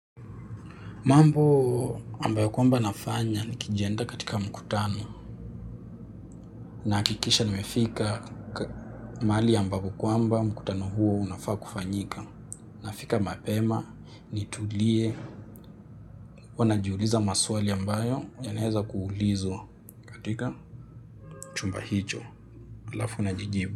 Mambo ambayo kwamba nafanya ni kijiandaa katika mkutano nahakikisha nimefika mahali ambapo kwamba mkutano huo unafaa kufanyika. Nafika mapema, nitulie, huwa najiuliza maswali ambayo yanaweza kuulizwa katika chumba hicho, halafu najijibu.